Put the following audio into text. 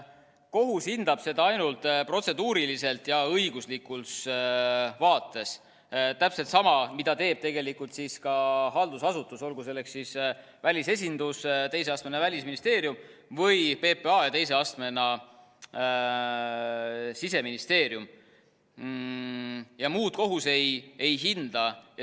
Kohus hindab seda ainult protseduuriliselt ja õiguslikult, täpselt sama, mida teeb tegelikult ka haldusasutus, olgu selleks siis välisesindus, teise astmena Välisministeerium või PPA või Siseministeerium, ja muud kohus ei hinda.